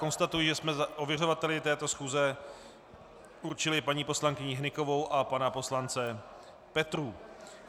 Konstatuji, že jsme ověřovateli této schůze určili paní poslankyni Hnykovou a pana poslance Petrů.